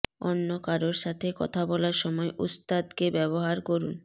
অন্য কারো সাথে কথা বলার সময় উস্তাদকে ব্যবহার করুন